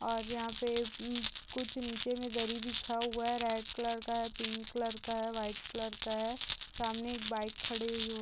और यहाँ पे अम कुछ निचे में दरी बिछा हुआ है। रेड कलर का है। पिंक कलर का है। व्हाइट कलर का है। सामने एक बाइक खड़ी यु --